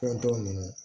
Fɛn t'o min na